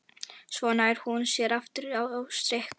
Svo nær hún sér aftur á strik.